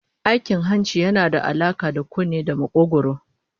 Aikin hanci yana da alaka da kunne da makogwaro